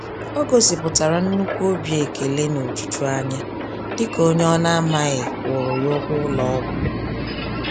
O gosi pụtara nnukwu obi ekele nojuju anya, dịka onyé ọna amaghị kwụụrụ ya ụgwọ ụlọ ọgwụ